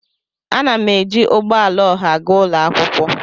A na m eji ugbo ala oha agaa ụlọ akwụkwọ